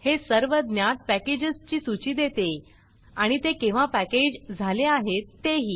हे सर्व ज्ञात पॅकेजस ची सूची देते आणि ते केव्हा पॅकेज झाले आहेत ते ही